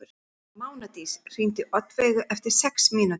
Mánadís, hringdu í Oddveigu eftir sex mínútur.